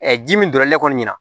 ji min don la ne kɔni ɲɛna